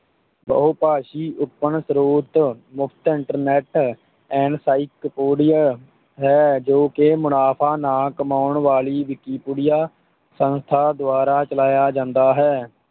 ਬਹੁਭਾਸ਼ਾਈ open ਸਰੋਤ, ਮੁਫਤ internet encyclopedia ਹੈ ਜੋ ਕਿ ਮੁਨਾਫਾ ਨਾ ਕਮਾਉਣ ਵਾਲੀ ਵਿਕੀਪੀਡੀਆ ਸੰਸਥਾ ਦੁਆਰਾ ਚਲਾਇਆ ਜਾਂਦਾ ਹੈ।